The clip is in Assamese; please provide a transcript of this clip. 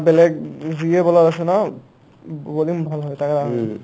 বেলেগ যিয়ে bowler আছে ন bowling ভাল হয়